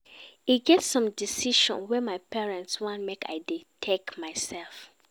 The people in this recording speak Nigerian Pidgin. E get some decision wey my parents want make I dey take mysef.